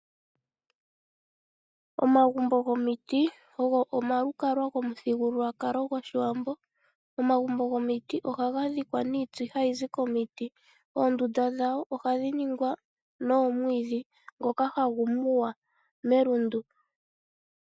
Omagumbo gomiti ogo omalukalwa gomuthigululwakalo gwoshiwambo. Omagumbo gomiti ohaga dhikwa niiti hayizi komiti. Oondunda dhawo ohadhi ningwa noomwiidhi, ndhoka hadhi muwa melundu.